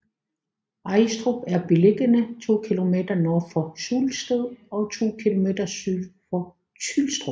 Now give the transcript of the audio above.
Ajstrup er beliggende to kilometer nord for Sulsted og to kilometer syd for Tylstrup